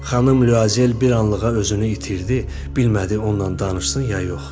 Xanım Luazel bir anlığa özünü itirdi, bilmədi onunla danışsın ya yox.